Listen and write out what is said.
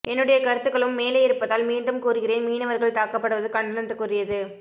என்னுடைய கருத்துக்களும் மேலே இருப்பதால் மீண்டும் கூறுகிறேன் மீனவர்கள் தாக்கப்படுவது கண்டனத்துக்குரியது